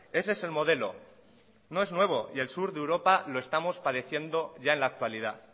ese es el modelo no es nuevo y el sur de europa lo estamos padeciendo ya en la actualidad